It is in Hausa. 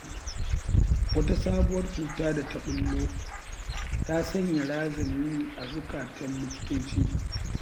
Wata sabuwar cuta da ta ɓullo, ta sanya razani a zuƙatan liktoci.